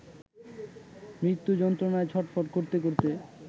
মৃতু যন্ত্রণায় ছটফট করতে করতে